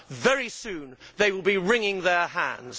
very soon they will be wringing their hands.'